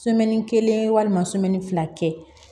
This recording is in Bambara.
kelen walima fila kɛ